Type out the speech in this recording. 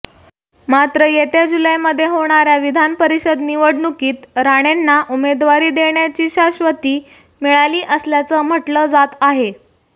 मात्र येत्या जुलैमध्ये होणाऱ्या विधानपरिषद निवडणुकीत राणेंना उमेदवारी देण्याची शाश्वती मिळाली असल्याचं म्हटलं जात आहे